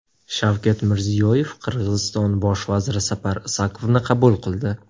Shavkat Mirziyoyev Qirg‘iziston bosh vaziri Sapar Isakovni qabul qildi.